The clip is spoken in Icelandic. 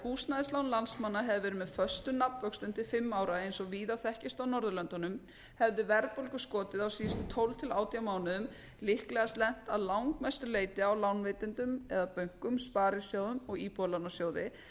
húsnæðislán landsmanna hefðu verið með föstum nafnvöxtum til fimm ára eins og víða þekkist á norðurlöndunum hefði verðbólguskotið á síðustu tólf til átján mánuðum líklegast lent að langmestu leyti á lánveitendum eða bönkum sparisjóðum og íbúðalánasjóði